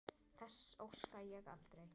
Þess óska ég aldrei.